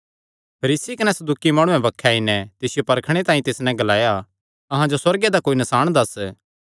फरीसी कने सदूकी माणुआं बक्खे आई नैं तिसियो परखणे तांई तिस नैं ग्लाया अहां जो सुअर्गे दा कोई नसाण दस्स